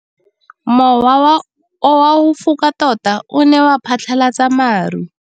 Mowa o wa go foka tota o ne wa phatlalatsa maru.